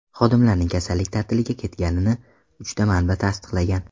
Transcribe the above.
Xodimlarning kasallik ta’tiliga ketganini uchta manba tasdiqlagan.